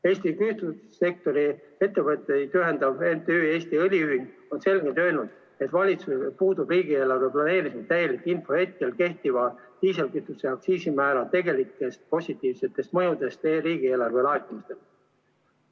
Eesti kütusesektori ettevõtteid ühendav MTÜ Eesti Õliühing on selgelt öelnud, et valitsusel puudub riigieelarve planeerimisel täielik info kehtiva diislikütuse aktsiisi tegelikest positiivsetest mõjudest meie riigieelarve laekumistele.